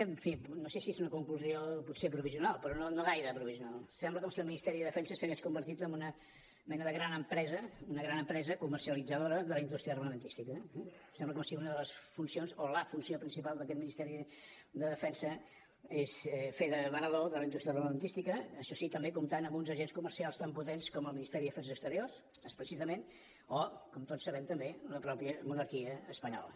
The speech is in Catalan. en fi no sé si és una conclusió potser provisional però no gaire provisional sembla com si el ministeri de defensa s’hagués convertit en una mena de gran empresa una gran empresa comercialitzadora de la indústria armamentista sembla com si una de les funcions o la funció principal d’aquest ministeri de defensa és fer de venedor de la indústria armamentista això sí també comptant amb uns agents comercials tan potents com el ministeri d’afers exteriors explícitament o com tots sabem també la mateixa monarquia espanyola